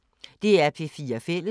DR P4 Fælles